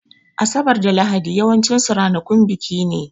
Asabar da Lahadi yawancin su ranakun biki ne